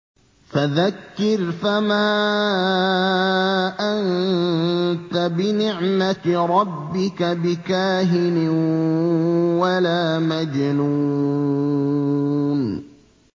فَذَكِّرْ فَمَا أَنتَ بِنِعْمَتِ رَبِّكَ بِكَاهِنٍ وَلَا مَجْنُونٍ